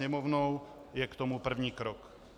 Sněmovnou je k tomu první krok.